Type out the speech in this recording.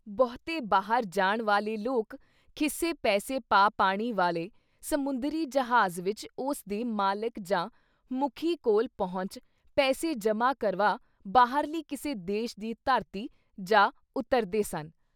ਬਹੁਤੇ ਬਾਹਰ ਜਾਣ ਵਾਲੇ ਲੋਕ ਖੀਸੇ ਪੈਸੇ ਪਾ ਪਾਣੀ ਵਾਲ਼ੇ ਸਮੁੰਦਰੀ ਜਹਾਜ਼ ਵਿੱਚ ਉਸਦੇ ਮਾਲਿਕ ਜਾਂ ਮੁਖੀ ਕੋਲ਼ ਪਹੁੰਚ, ਪੈਸੇ ਜਮ੍ਹਾਂ ਕਰਵਾ ਬਾਹਰਲੀ ਕਿਸੇ ਦੇਸ਼ ਦੀ ਧਰਤੀ ਜਾ ਉਤਰਦੇ ਸਨ।